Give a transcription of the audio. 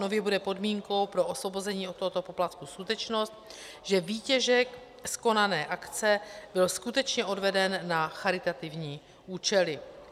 Nově bude podmínkou pro osvobození od tohoto poplatku skutečnost, že výtěžek z konané akce byl skutečně odveden na charitativní účely.